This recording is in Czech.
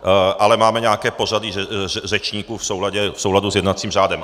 Ale máme nějaké pořadí řečníků v souladu s jednacím řádem.